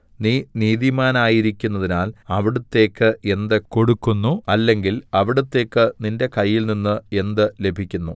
നീ നീതിമാനായിരിക്കുന്നതിനാൽ അവിടുത്തേക്ക് എന്ത് കൊടുക്കുന്നു അല്ലെങ്കിൽ അവിടുത്തേക്ക് നിന്റെ കയ്യിൽനിന്ന് എന്ത് ലഭിക്കുന്നു